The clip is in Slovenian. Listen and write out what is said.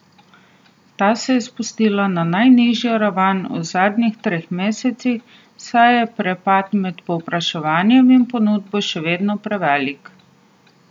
Ta se je spustila na najnižjo raven v zadnjih treh mesecih, saj je prepad med povpraševanjem in ponudbo še vedno prevelik.